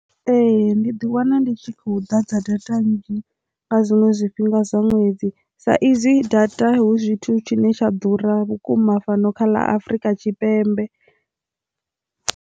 Ee, ndi ḓi wana ndi tshi khou ḓadza data nzhi nga zwiṅwe zwifhinga sa ṅwedzi sa izwi data hu zwithu tshine tsha ḓura vhukuma fhano kha ḽa Afrika Tshipembe